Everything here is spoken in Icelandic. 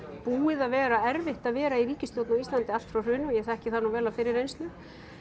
búið að vera erfitt að vera í ríkisstjórn allt frá hruni og ég þekki það nú vel af fyrri reynslu